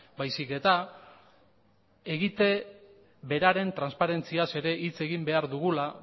baizik eta egite beraren transparentziaz ere hitz egin behar dugula